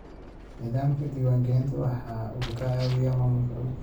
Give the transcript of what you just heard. Nidaamka diiwaangelinta wuxuu caawiyaa maamulka dhulka.